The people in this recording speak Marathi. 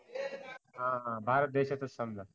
हा हा भारत देशातच